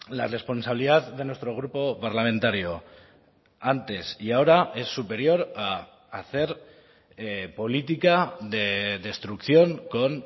la responsabilidad de nuestro grupo parlamentario antes y ahora es superior a hacer política de destrucción con